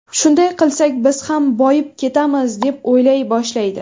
Shunday qilsak biz ham boyib ketamiz deb o‘ylay boshlaydi.